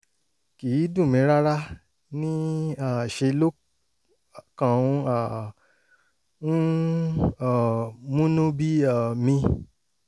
kì í dùn mí rárá ní í um ṣe ló kàn ń um ń um múnú bí um mi